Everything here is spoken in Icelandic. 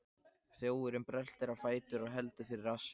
Þjófurinn bröltir á fætur og heldur fyrir rassinn.